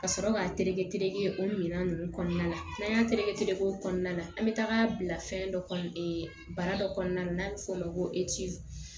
Ka sɔrɔ k'a tereke teleke o minɛn ninnu kɔnɔna la n'an y'a tereke tereke o kɔnɔna na an bɛ taga bila fɛn dɔ kɔ baara dɔ kɔnɔna n'a bɛ f'o ma ko